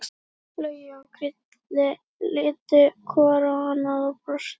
Laugi og Krilli litu hvor á annan og brostu.